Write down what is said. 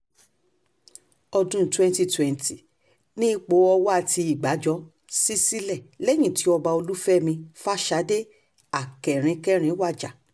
ọdún twenty twenty ni ipò ọ̀wà tí ìgbàjọ ṣí sílẹ̀ lẹ́yìn tí ọba olùfẹ̀mí fàṣàdé akẹrin kẹrin wájà